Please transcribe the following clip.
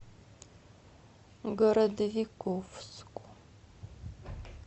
городовиковску